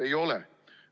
Ei ole.